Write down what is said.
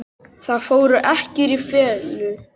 Það fór ekki í felur.